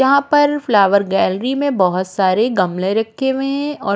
जहाँ पर flower gallery में बहुत सारे गमले रखे हुए हैं और --